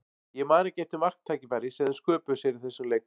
Ég man ekki eftir marktækifæri sem þeir sköpuðu sér í þessum leik.